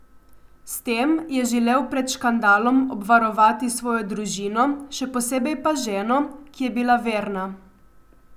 S tem je želel pred škandalom obvarovati svojo družino, še posebej pa ženo, ki je bila verna.